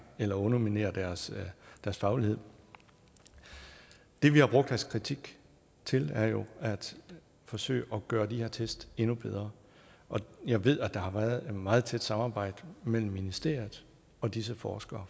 eller underminere deres deres faglighed det vi har brugt deres kritik til er jo at forsøge at gøre de her test endnu bedre og jeg ved at der har været et meget tæt samarbejde mellem ministeriet og disse forskere